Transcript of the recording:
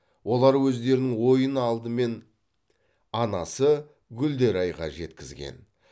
олар өздерінің ойын алдымен анасы гүлдерайға жеткізген